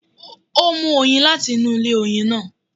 Ó mú oyin láti inú ilé oyin náà.